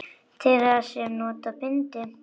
Þeirra sem nota bindi?